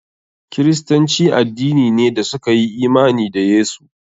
Kiristanci addini ne da suka yi imani da Yesu.